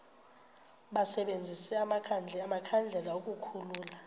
basebenzise amakhandlela ukukhulula